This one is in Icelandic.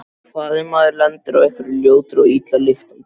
Hvað ef maður lendir á einhverri ljótri og illa lyktandi?